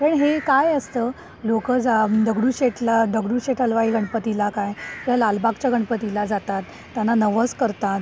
पण हे काय असतं, लोकं दगडूशेठला, दगडूशेठ हलवाई गणपतीला काय किंवा लालबागच्या गणपतीला जातात, त्यांना नवस करतात